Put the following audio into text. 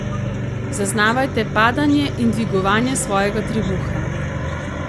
Zaznavajte padanje in dvigovanje svojega trebuha.